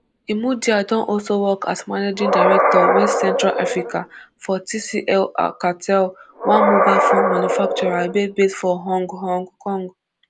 imudia don also work as managing director west central africa for tclalcatel one mobile phone manufacturer wey base for hong hong kong